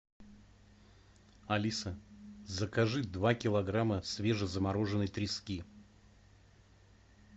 алиса закажи два килограмма свежезамороженной трески